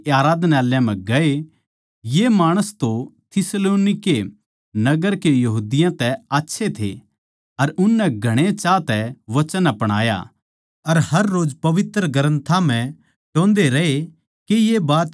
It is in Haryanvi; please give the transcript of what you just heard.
ये माणस तो थिस्सलुनीके नगर के यहूदियाँ तै आच्छे थे अर उननै घणे चाह् तै वचन अपणाया अर हररोज पवित्र ग्रन्थां म्ह टोह्न्दे रहे के ये बात न्यू सै के न्ही